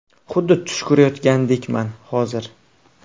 Xuddi tush ko‘rayotgandekman, hozir.